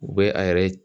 U bɛ a yɛrɛ